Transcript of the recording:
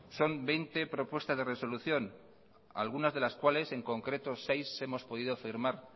son veinte propuestas de resolución algunas de las cuales en concreto seis hemos podido firmar